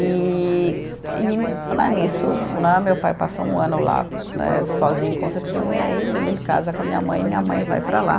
E e, né nisso né, meu pai passou um ano lá né, sozinho em Concepción, e aí ele ele casa com a minha mãe e minha mãe vai para lá.